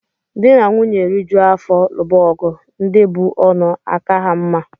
Dị na nwunye rijuo afọ luba ọgụ ndị bú ọnụ aka ha mma